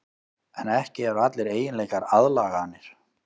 En ekki eru allir eiginleikar aðlaganir.